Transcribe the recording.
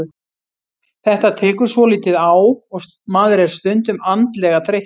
Þetta tekur svolítið á og maður er stundum andlega þreyttur.